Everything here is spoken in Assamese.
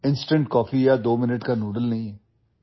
ইনষ্টেণ্ট কফি বা দুই মিনিটৰ নুডলছ নহয়